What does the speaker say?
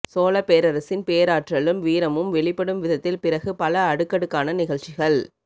சோழப் பேரரசின் பேராற்றலும் வீரமும் வெளிப்படும் விதத்தில் பிறகு பல அடுக்கடுக்கான நிகழ்ச்சிகள்